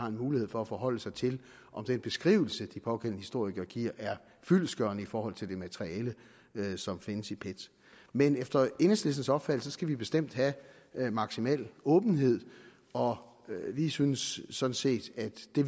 en mulighed for at forholde sig til om den beskrivelse de pågældende historikere giver er fyldestgørende i forhold til det materiale som findes i pet men efter enhedslistens opfattelse skal vi bestemt have maksimal åbenhed og vi synes sådan set at det